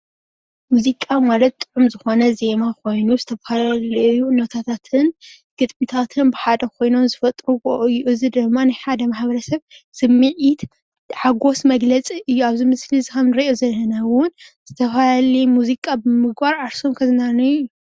ሙዚቃ ማለት ጥዑም ዝኮነ ዜማ ኮይኑ ዝተፈላለዩ ኖታታትን ግጥምታትን ብሓደ ኮይኖም ዝፈጥርዎ እዩ። እዚ ድማ ናይ ሓደ ማሕበረሰብ ስምዒት ፣ሓጎስ መግለፂ እዩ። ኣብዚ ምስሊ እዚ ከምንሪኦ ዘለና እውን ዝተፈላለዩ ሙዚቃ ብምግባር ዓርሶም ከዝናንዩ።